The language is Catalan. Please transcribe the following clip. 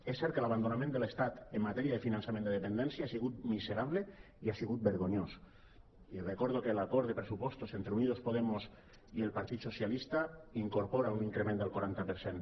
és cert que l’abandonament de l’estat en matèria de finançament de depen·dència ha sigut miserable i ha sigut vergonyós i recordo que l’acord de pressupostos entre unidos podemos i el partit socialista incorpora un increment del quaranta per cent